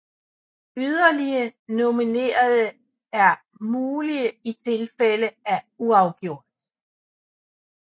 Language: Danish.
Yderligere nominerede er mulige i tilfælde af uafgjort